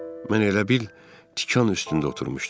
Mən elə bil tikan üstündə oturmuşdum.